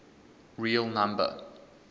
real number